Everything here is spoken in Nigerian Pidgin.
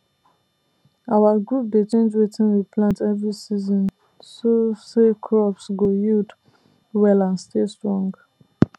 our group dey change wetin we plant every season so say crops go yield well and stay strong